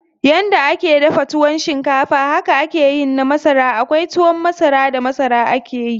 Yanda ake dafa tuwon shinkafa haka akeyin na masara, kawai tuwon masara da masara akeyi.